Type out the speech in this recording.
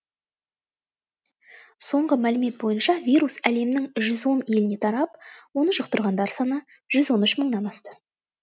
соңғы мәлімет бойынша вирус әлемнің жүз он еліне тарап оны жұқтырғандар саны жүз он үш мыңнан асты